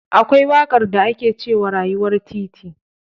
Akwai waƙar da ake cewa "Rayuwar titi".